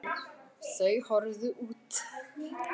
Þau horfðu út.